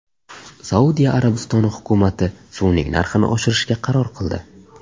Saudiya Arabistoni hukumati suvning narxini oshirishga qaror qildi.